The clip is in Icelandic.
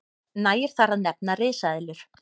nægir þar að nefna risaeðlur